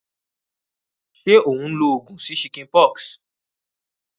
Sé o n lo ogùn sí chickenpox?